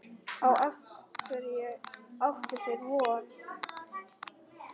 Á hverju áttu þeir von?